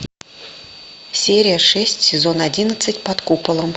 серия шесть сезон одиннадцать под куполом